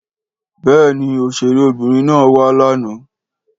Béèni òṣèré obìnrin na wa lànà.